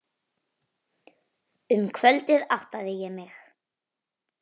Um kvöldið áttaði ég mig.